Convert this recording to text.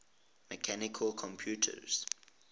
mechanical computers